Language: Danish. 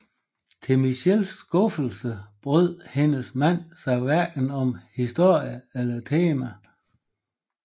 Til Mitchells skuffelse brød hendes mand sig hverken om historien eller temaet